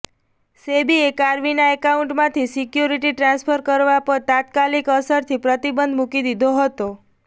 સેબીએ કાર્વીના એકાઉન્ટમાંથી security transfer કરવા પર તાત્કાલિક અસરથી પ્રતિબંધ મૂકી દીધો હતો